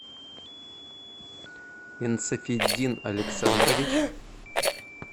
инсафитдин александрович